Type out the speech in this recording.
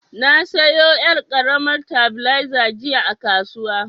Na sayo yar' karamar tabileza jiya a kasuwa.